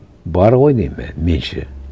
бар ғой деймін меніңше